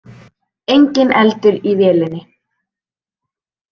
Enginn eldur í vélinni